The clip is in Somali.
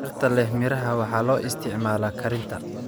Dhirta leh miraha waxaa loo isticmaalaa karinta.